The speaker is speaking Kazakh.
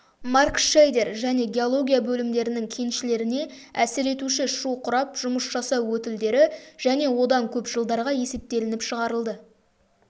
маркшейдер және геология бөлімдерінің кеншілеріне әсер етуші шу құрап жұмыс жасау өтілдері және одан көп жылдарға есептелініп шығарылды